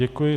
Děkuji.